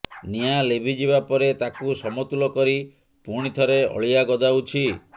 ନିଆଁ ଲିଭି ଯିବା ପରେ ତାକୁ ସମତୁଲ କରି ପୁଣି ଥରେ ଅଳିଆ ଗଦାଉଛି